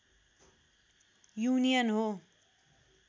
union हो